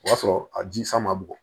O y'a sɔrɔ a ji san man bugɔ